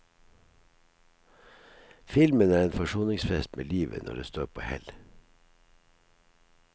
Filmen er en forsoningsfest med livet når det står på hell.